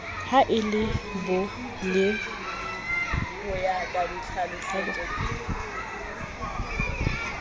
ha e le bo le